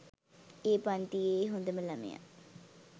ඒ පන්තියේ හොඳම ළමයා.